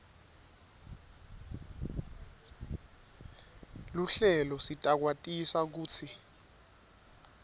luhlelo sitakwatisa kutsi